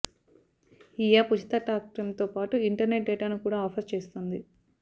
ఈ యాప్ ఉచిత టాక్టైమ్తో పాటు ఇంటర్నెట్ డేటాను కూడా ఆఫర్ చేస్తోంది